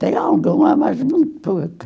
Tenho alguma, mas muito pouco.